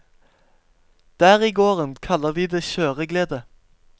Der i gården kaller de det kjøreglede.